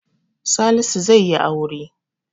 Salisu zaiyi aure